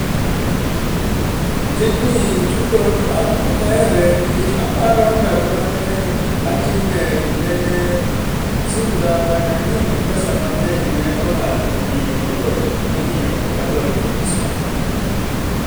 Tijni chutho to an ok ahere nikech aparo ndalo mane atime nene simba mane anyiew gi pesa mangeny ne olal omiyo koro ok adware kabisa